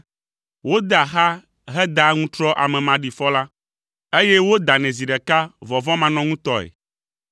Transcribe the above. Wodea xa hedaa aŋutrɔ ame maɖifɔ la, eye wodanɛ zi ɖeka vɔvɔ̃manɔŋutɔe.